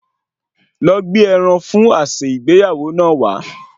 Lọ gbé ẹran fún àsè ìgbéyàwó náà wá